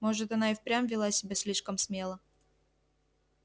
может она и впрямь вела себя слишком смело